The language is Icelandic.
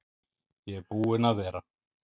Ég er búinn að vera.